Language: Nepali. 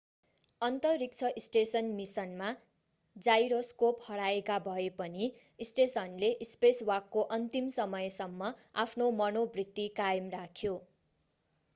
अन्तरिक्ष स्टेसन मिसनमा जाइरोस्कोप हराएका भए पनि स्टेसनले स्पेसवाकको अन्तिम समयसम्म आफ्नो मनोवृत्ति कायम राख्यो